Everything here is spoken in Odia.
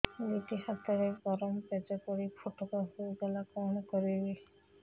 ଦିଦି ହାତରେ ଗରମ ପେଜ ପଡି ଫୋଟକା ହୋଇଗଲା କଣ କରିବି